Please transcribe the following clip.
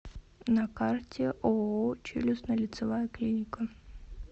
на карте ооо челюстно лицевая клиника